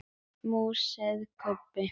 másaði Kobbi.